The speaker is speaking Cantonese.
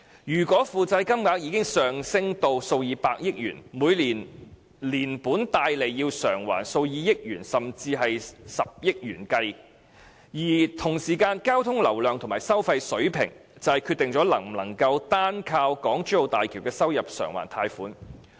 如果負債金額已上升至數以百億元，每年連本帶利要償還數以億元甚至十億元計；而與此同時，交通流量及收費水平則決定能否單靠港珠澳大橋的收入償還貸款。